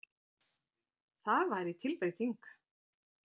Það væri tilbreyting.